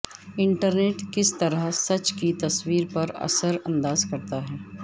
internet کس طرح سچ کے تصور پر اثر انداز کرتا ہے